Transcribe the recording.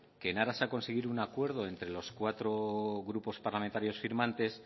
que en aras a conseguir un acuerdo entre los cuatro grupos parlamentarios firmantes